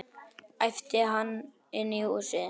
æpti hann inn í húsið.